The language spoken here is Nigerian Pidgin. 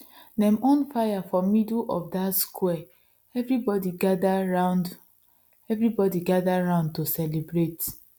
dem on fire for middle of dat square everybody gather round everybody gather round to celebrate